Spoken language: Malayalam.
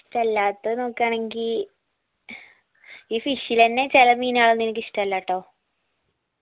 ഇഷ്ട്ടല്ലാതെ നോക്കാണെങ്കി ഈ fish ലെന്നെ ചെല മീൻ അതൊന്നു എനിക്ക് ഇഷ്ടല്ലാട്ടോ